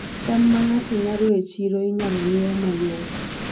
cham ma ng'ato nyago e chiro, inyalo ng'iewo mayot